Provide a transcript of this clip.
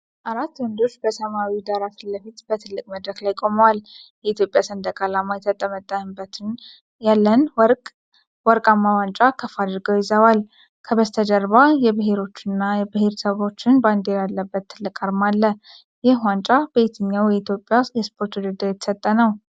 አራት ወንዶች በሰማያዊ ዳራ ፊትለፊት በትልቅ መድረክ ላይ ቆመዋል። የኢትዮጵያ ሰንደቅ ዓላማ ተጠምጥሞበት ያለን ወርቃማ ዋንጫ ከፍ አድርገው ይዘዋል። ከበስተጀርባ የብሔሮችና ብሔረሰቦች ባንዲራ ያለበት ትልቅ አርማ አለ። ይህ ዋንጫ በየትኛው የኢትዮጵያ የስፖርት ውድድር የተሰጠ ነው?